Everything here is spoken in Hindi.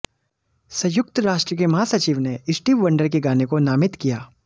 संयुक्त राष्ट्र के महासचिव ने स्टीव वंडर के गाने को नामित किया